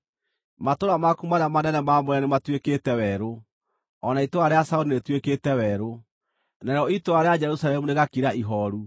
Matũũra maku marĩa manene maamũre nĩmatuĩkĩte werũ; o na itũũra rĩa Zayuni rĩtuĩkĩte werũ, narĩo itũũra rĩa Jerusalemu rĩgakira ihooru.